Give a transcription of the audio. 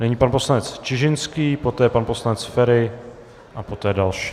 Nyní pan poslanec Čižinský, poté pan poslanec Feri a poté další.